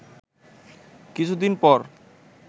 কিছুদিন পর